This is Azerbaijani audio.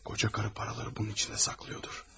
Koca karı paraları bunun içində saxlayırdır.